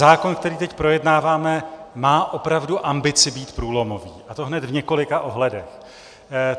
Zákon, který teď projednáváme, má opravdu ambici být průlomový, a to hned v několika ohledech.